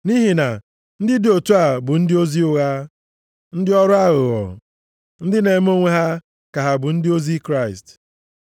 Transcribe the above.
Nʼihi na ndị dị otu a bụ ndị ozi ụgha, ndị ọrụ aghụghọ, ndị na-eme onwe ha ka ha bụ ndị ozi Kraịst.